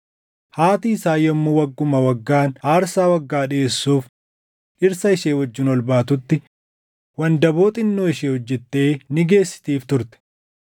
Haati isaa yommuu wagguma waggaan aarsaa waggaa dhiʼeessuuf dhirsa ishee wajjin ol baatutti wandaboo xinnoo ishee hojjettee ni geessitiif turte.